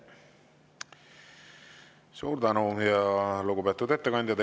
Suur tänu, lugupeetud ettekandja!